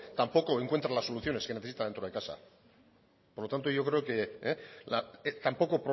tampoco encuentra las soluciones que necesita dentro de casa por lo tanto yo creo que tampoco